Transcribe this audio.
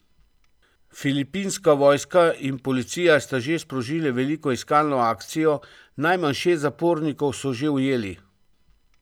Filipinska vojska in policija sta že sprožili veliko iskalno akcijo, najmanj šest zapornikov so že ujeli.